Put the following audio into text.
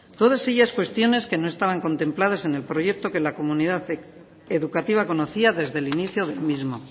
todas ellas cuestiones que no estaban contempladas en el proyecto que la comunidad educativa conocía desde el inicio del mismo